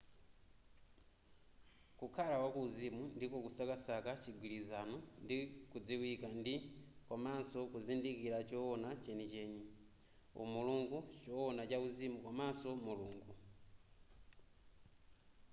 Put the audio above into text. kukhala wa kuuzimu ndiko kusakasaka chigwilizano ndi kudziwika ndi komanso kuzindikira chowona chenicheni umulungu chowona chauzimu komanso mulungu